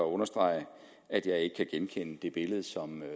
understrege at jeg ikke kan genkende det billede som